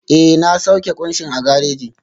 Ee, na sauke kunshin a gareji